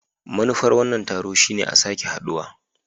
Manufar wannan taro shine a sake haduwa.